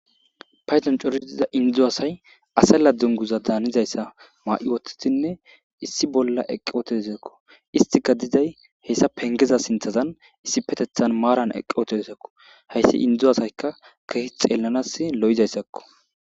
payton coriziza indzu asay ase ladunguza daanizayssa maa7i wothtitinne issi bolla eqqi otesakko istika diday hessa pengeza sinthazan issi petethan maaran eqqi oteesakko hayssi indzu asayka kehi xeellanas lo7izayssakko